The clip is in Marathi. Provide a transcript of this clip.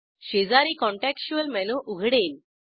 शेजारी काँटेक्सच्युअल मेनू उघडेल